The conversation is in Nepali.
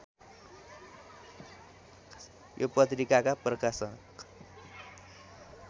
यो पत्रिकाका प्रकाशक